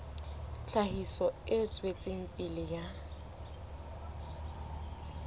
tlhahiso e tswetseng pele ya